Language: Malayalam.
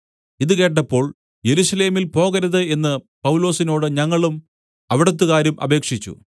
ഇതു കേട്ടപ്പോൾ യെരൂശലേമിൽ പോകരുത് എന്ന് പൗലോസിനോട് ഞങ്ങളും അവിടത്തുകാരും അപേക്ഷിച്ചു